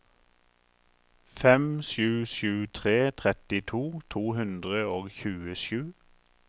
fem sju sju tre trettito to hundre og tjuesju